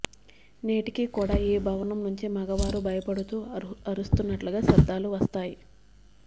నేటికి కూడా ఈ భవనం నుంచి మగవారు భయపడుతూ అరుస్తున్నట్లుగా శబ్దాలు వస్తాయి